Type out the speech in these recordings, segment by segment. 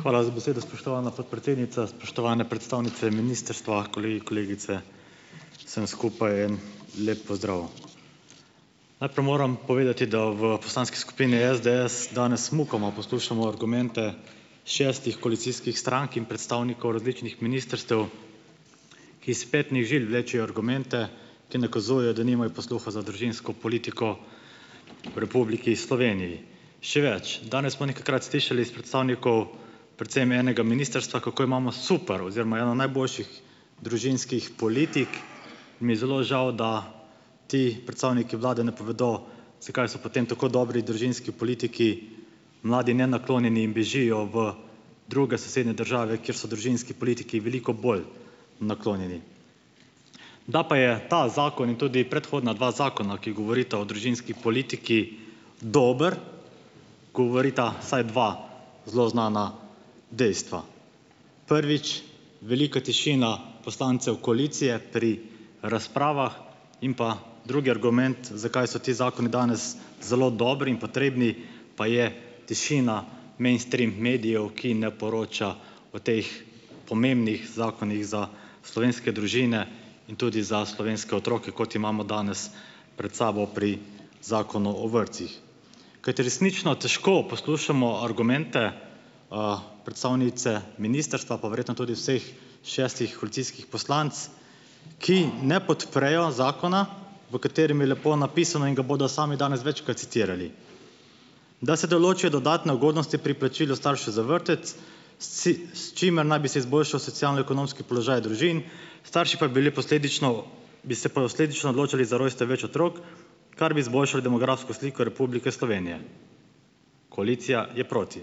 Hvala za besedo, spoštovana podpredsednica. Spoštovane predstavnice ministrstva, kolegi, kolegice! Vsem skupaj en lep pozdrav! Najprej moram povedati, da v Poslanski skupini SDS danes mukoma poslušamo argumente šestih koalicijskih strank in predstavnikov različnih ministrstev, ki iz petnih žil vlečejo argumente, ki nakazujejo, da nimajo posluha za družinsko politiko v Republiki Sloveniji. Še več, danes smo nekajkrat slišali s predstavnikov, predvsem enega ministrstva, kako imamo super oziroma eno najboljših družinskih politik. Mi je zelo žal, da ti predstavniki vlade ne povedo, zakaj so potem tako dobri družinski politiki mladi nenaklonjeni in bežijo v druge sosednje države, kjer so družinski politiki veliko bolj naklonjeni. Da pa je ta zakon in tudi predhodna dva zakona, ki govorita o družinski politiki, dobro, govorita saj dva zelo znani dejstvi. Prvič, velika tišina poslancev koalicije pri razpravah in pa drugi argument, zakaj so ti zakoni danes zelo dobri in potrebni, pa je tišina mainstream medijev, ki ne poroča o teh pomembnih zakonih za slovenske družine in tudi za slovenske otroke, kot imamo danes pred sabo pri zakonu o vrtcih. Kajti resnično težko poslušamo argumente predstavnice ministrstva, pa verjetno tudi vseh šestih koalicijskih poslanec, ki ne podprejo zakona, v katerem je lepo napisano, in ga bodo sami danes večkrat citirali, "da se določijo dodatne ugodnosti pri plačilu staršev za vrtec, s ci, s čimer naj bi se izboljšal socialno-ekonomski položaj družin, starši pa bili posledično, bi se posledično odločali za rojstev več otrok, kar bi zboljšalo demografsko sliko Republike Slovenije". Koalicija je proti.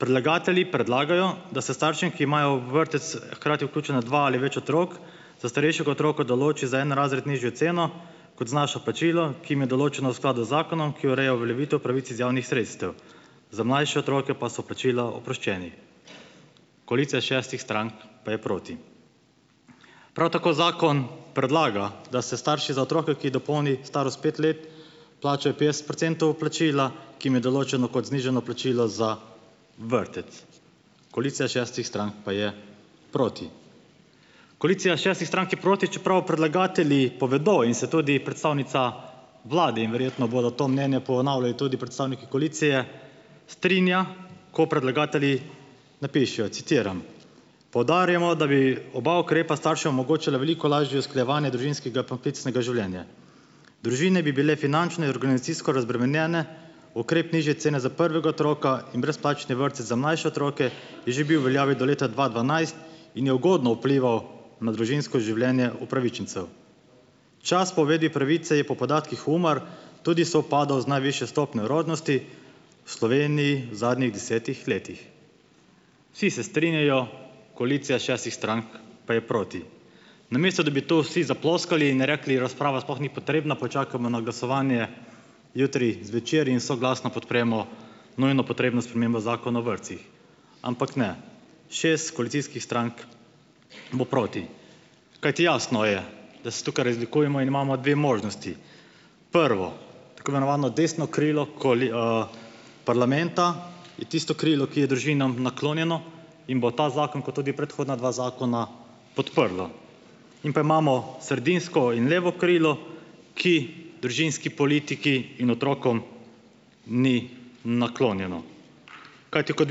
Predlagatelji predlagajo, da se staršem, ki imajo v vrtec hkrati vključena dva ali več otrok, za starejšega otroka določi za en razred nižjo ceno kot znaša plačilo, ki jim je določeno v skladu z zakonom, ki ureja uveljavitev pravic iz javnih sredstev. Za mlajše otroke pa so plačila oproščeni. Koalicija šestih strank pa je proti. Prav tako zakon predlaga, da se starši za otroka, ki dopolni starost pet let, plačajo petdeset procentov plačila, ki jim je določeno kot znižano plačilo za vrtec. Koalicija šestih strank pa je proti. Koalicija šestih strank je proti, čeprav predlagatelji povedo in se tudi predstavnica vlade, in verjetno bodo to mnenje ponavljali tudi predstavniki koalicije, strinja, ko predlagatelji napišejo, citiram: "Poudarjamo, da bi oba ukrepa staršem omogočila veliko lažje usklajevanje družinskega poklicnega življenja." Družine bi bile finančno in organizacijsko razbremenjene, ukrep nižje cene za prvega otroka in brezplačni vrtec za mlajše otroke je že bil v veljavi do leta dva dvanajst in je ugodno vplival na družinsko življenje upravičencev. Čas po uvedbi pravice je po podatkih UMAR tudi sovpadal z najvišjo stopnjo rodnosti v Sloveniji v zadnjih desetih letih. Vsi se strinjajo, koalicija šestih strank pa je proti. Namesto da bi vsi zaploskali in rekli: "Razprava sploh ni potrebna, počakajmo na glasovanje jutri zvečer in soglasno podpremo nujno potrebno spremembo Zakona o vrtcih." Ampak ne. Šest koalicijskih strank bo proti. Kajti jasno je, da se tukaj razlikujemo in imamo dve možnosti. Prvo, tako imenovano desno krilo koali, parlamenta, je tisto krilo, ki je družinam naklonjeno in bo ta zakon kot tudi predhodna dva zakona, podprlo. In pa imamo sredinsko in levo krilo, ki družinski politiki in otrokom ni naklonjeno. Kajti, kot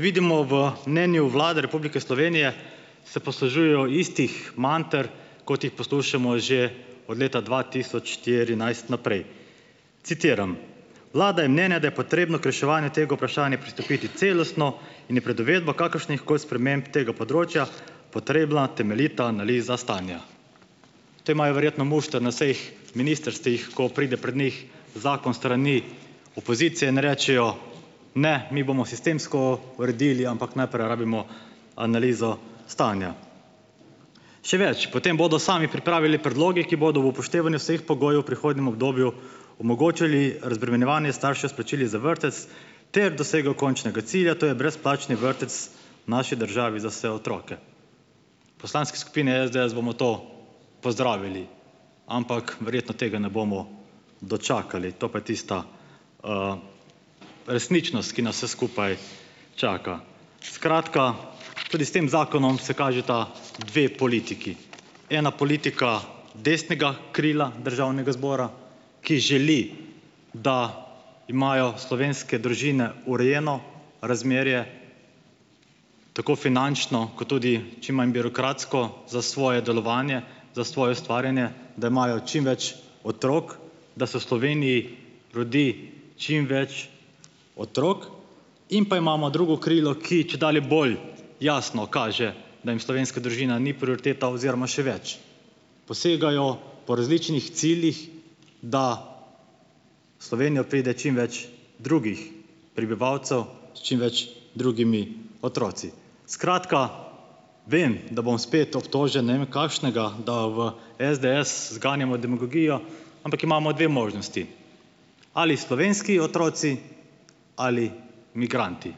vidimo v mnenju Vlade Republike Slovenije, se poslužujejo istih manter, kot jih poslušamo že od leta dva tisoč štirinajst naprej, citiram: "Vlada je mnenja, da je potrebno k reševanju tega vprašanja pristopiti celostno in je pred uvedbo kakršnihkoli sprememb tega področja potrebna temeljita analiza stanja." To imajo verjetno mušter na vseh ministrstvih, ko pride pred njih zakon s strani opozicije in rečejo, ne, mi bomo sistemsko uredili, ampak najprej rabimo analizo stanja. Še več, potem bodo sami pripravili predloge, ki bodo ob upoštevanju vseh pogojev v prihodnjem obdobju omogočali razbremenjevanje staršev s plačili za vrtec ter dosego končnega cilja, to je brezplačni vrtec v naši državi za vse otroke. V Poslanski skupini SDS bomo to pozdravili, ampak verjetno tega ne bomo dočakali, to je pa tista resničnost, ki nas se skupaj čaka. Skratka, tudi s tem zakonom se kažeta dve politiki. Ena politika desnega krila državnega zbora, ki želi, da imajo slovenske družine urejeno razmerje, tako finančno kot tudi čim manj birokratsko za svoje delovanje, za svoje ustvarjanje, da imajo čim več otrok, da se v Sloveniji rodi čim več otrok, in pa imamo drugo krilo, ki čedalje bolj jasno kaže, da jim slovenska družina ni prioriteta oziroma še več, posegajo po različnih ciljih, da v Slovenijo pride čim več drugih prebivalcev, s čim več drugimi otroci. Skratka, vem, da bom spet obtožen ne vem kakšnega, da v SDS zganjamo demagogijo, ampak imamo dve možnosti, ali slovenski otroci ali migranti.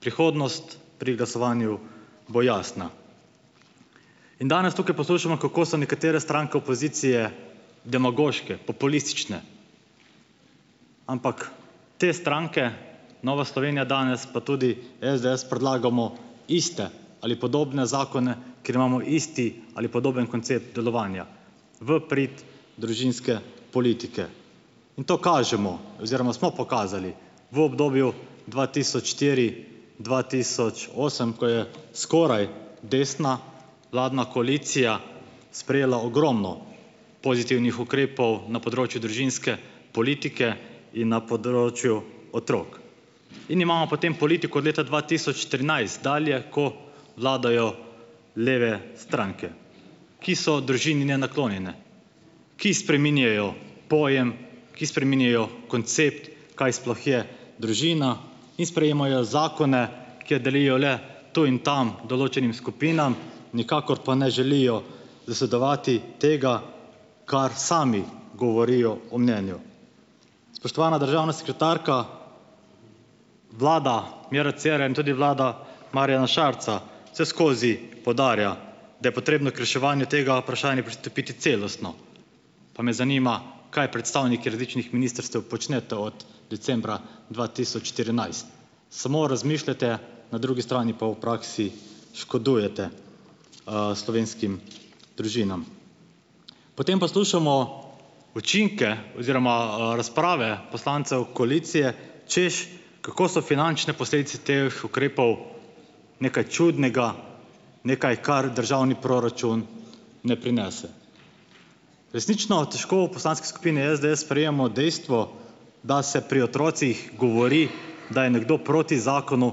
Prihodnost pri glasovanju bo jasna. In danes tukaj poslušamo, kako se nekatere stranke opozicije demagoške, populistične, ampak te stranke, Nova Slovenija danes pa tudi SDS, predlagamo iste ali podobne zakone, ker imamo isti ali podoben koncept delovanja v prid družinske politike. In to kažemo oziroma smo pokazali v obdobju dva tisoč štiri- dva tisoč osem, ko je skoraj desna vladna koalicija sprejela ogromno pozitivnih ukrepov na področju družinske politike in na področju otrok. In imamo potem politiko od leta dva tisoč trinajst dalje, ko vladajo leve stranke, ki so družini nenaklonjene, ki spreminjajo pojem, ki spreminjajo koncept, kaj sploh je družina, in sprejemajo zakone, kjer delijo le tu in tam določenim skupinam, nikakor pa ne želijo zasledovati tega, kar sami govorijo o mnenju. Spoštovana državna sekretarka, vlada Mira Cera in tudi vlada Marjana Šarca vseskozi poudarja, da je potrebno k reševanju tega vprašanja pristopiti celostno, pa me zanima, kaj predstavniki različnih ministrstev počnete od decembra dva tisoč štirinajst. Samo razmišljate, na drugi strani pa v praksi škodujete slovenskim družinam. Potem poslušamo učinke oziroma razprave poslancev koalicije, hočeš, kako so finančne posledice teh ukrepov nekaj čudnega, nekaj, kar državni proračun ne prinese. Resnično težko v Poslanski skupini SDS sprejmemo dejstvo, da se pri otrocih govori, da je nekdo proti zakonu,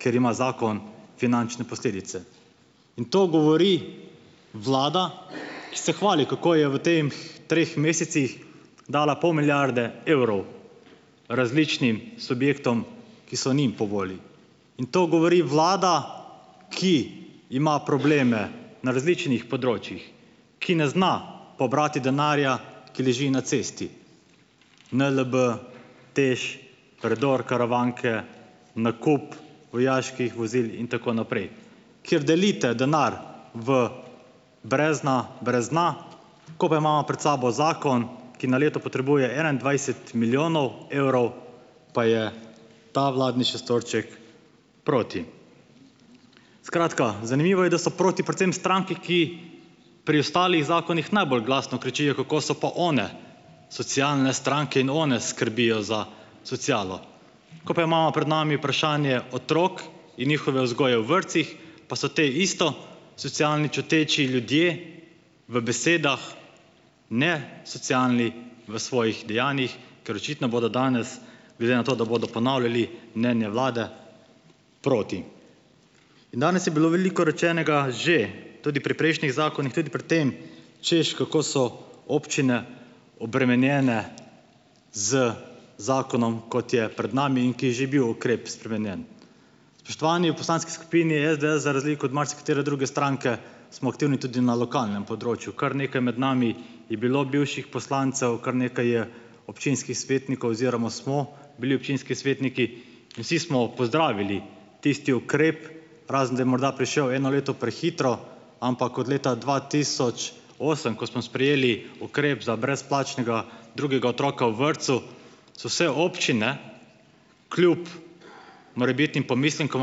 ker ima zakon finančne posledice, in to govori vlada, ki se hvali, kako je v teh treh mesecih dala pol milijarde evrov različnim subjektom, ki so njim po volji in to govori vlada, ki ima probleme na različnih področjih. Ki ne zna pobrati denarja, ki leži na cesti, NLB, TEŠ, predor Karavanke, nakup vojaških vozil in tako naprej. Ker delite denar v brezna brez dna, ko pa imamo pred sabo zakon, ki na leto potrebuje enaindvajset milijonov evrov, pa je ta vladni šestorček proti. Skratka, zanimivo je, da so proti predvsem stranke, ki pri ostalih zakonih najbolj glasno kričijo, kako so pa one socialne stranke in one skrbijo za socialo. Ko pa imamo pred nami vprašanje otrok in njihove vzgoje v vrtcih, pa so te isto socialni čuteči ljudje v besedah, ne socialni v svojih dejanjih, ker očitno bodo danes, glede na to, da bodo ponavljali mnenje vlade, proti. Danes je bilo veliko rečenega že tudi pri prejšnjih zakonih, tudi pri tem, češ, kako so občine obremenjene z zakonom, kot je pred nami in ki je že bil ukrep spremenjen. Spoštovani, v Poslanski skupini SDS za razliko od marsikatere druge stranke smo aktivni tudi na lokalnem področju. Kar nekaj med nami je bilo bivših poslancev, kar nekaj je občinskih svetnikov oziroma smo bili občinski svetniki, vsi smo pozdravili tisti ukrep, razen da je morda prišel eno leto prehitro, ampak od leta dva tisoč osem, ko smo sprejeli ukrep za brezplačnega drugega otroka v vrtcu, so vse občine kljub morebitnim pomislekom,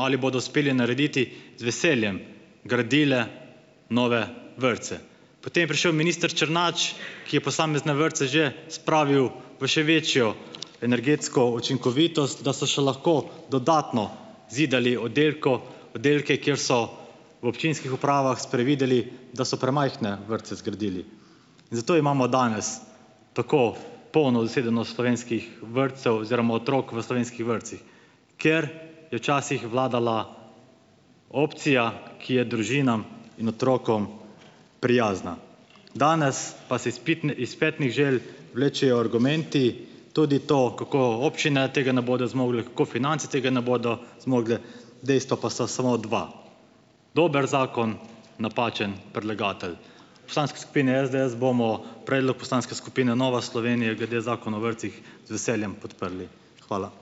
ali bodo uspele narediti, z veseljem gradile nove vrtce. Potem je prišel minister Črnač, ki je posamezne vrtce že spravil v še večjo energetsko učinkovitost, da so še lahko dodatno zidali oddelko oddelke, kjer so v občinskih upravah sprevideli, da so premajhne vrtce zgradili. In zato imamo danes tako polno zasedenost slovenskih vrtcev oziroma otrok v slovenskih vrtcih. Ker je včasih vladala opcija, ki je družinam in otrokom prijazna. Danes pa si iz pitne, iz petnih žil vlečejo argumenti, tudi to, kako občine tega ne bodo zmogle, kako finance tega ne bodo zmogle, dejstvi pa sta samo dve. Dober zakon, napačen predlagatelj. V Poslanski skupini SDS bomo predlog poslanske skupine Nova Slovenije glede Zakona o vrtcih z veseljem podprli. Hvala.